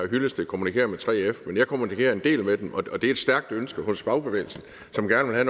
hyllested kommunikerer med 3f men jeg kommunikerer en del med dem og det er et stærkt ønske hos fagbevægelsen som gerne vil